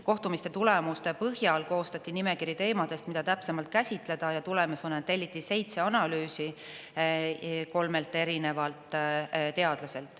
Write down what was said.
Kohtumiste tulemuste põhjal koostati nimekiri teemadest, mida täpsemalt käsitleda, ja tulemus on, et telliti seitse analüüsi kolmelt erinevalt teadlaselt.